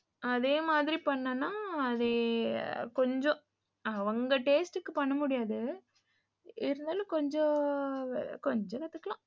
அதே மாரி பண்ணேன்னா அது கொஞ்சம் அவங்க taste க்கு பண்ண முடியாது இருந்தாலும் கொஞ்சம் கொஞ்சம் கத்துக்கலாம்